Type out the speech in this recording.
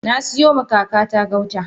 Nasiyoma kakata gauta.